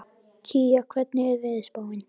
Kía, hvernig er veðurspáin?